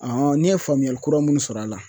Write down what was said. ne ye faamuyali kura minnu sɔrɔ a la